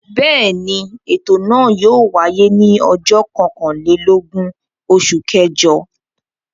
Bẹ́ẹ̀ ni, ètò náà yóò wáyé ní ọjọ́ kọkànlélógún oṣù kẹjọ.